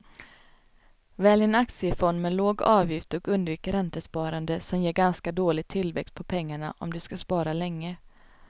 Välj en aktiefond med låg avgift och undvik räntesparande som ger ganska dålig tillväxt på pengarna om du ska spara länge.